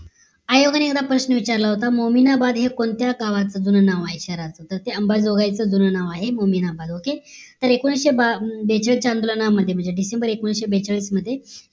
आयोगाने एक प्रश्न विचारला होता मोमीनाबाद हे कोणत्या गावाचं जून नवं आहे तर अंबाजोगाईच जून नाव आहे okay एकोणीशे बेचाळीस आंदोलनामध्ये म्हणजे डिसेंबर एकोणीशे बेचाळीस मध्ये